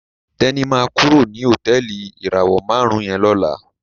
Teni ma kúrò ní Hotẹẹli ìràwọ márùn yén ló là.